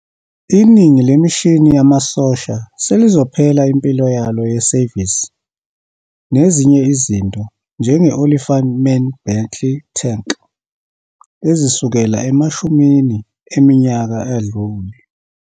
Iningi lemishini yamasosha selizophela impilo yalo yesevisi, nezinye izinto njenge-Olifant Main Battle Tank ezisukela emashumini eminyaka adlule.